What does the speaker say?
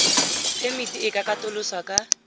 phemiti e ka katoloswa ka